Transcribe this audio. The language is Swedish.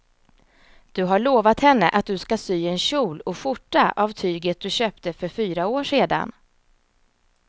Du har lovat henne att du ska sy en kjol och skjorta av tyget du köpte för fyra år sedan.